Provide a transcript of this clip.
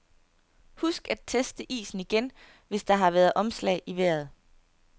Husk at teste isen igen, hvis der har været omslag i vejret.